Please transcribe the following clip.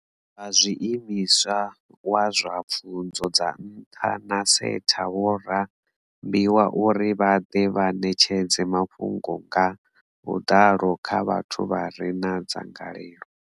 Vha zwiimiswa wa zwa pfunzo dza nṱha na SETA vho rambiwa uri vha ḓe vha ṋetshedze mafhungo nga vhuḓalo kha vhathu vha re na dzangalelo.